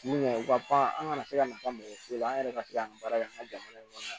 Mun u ka pan an kana se ka nafa ma foyi la an yɛrɛ ka se ka an ka baara kɛ an ka jamana in kɔnɔ yan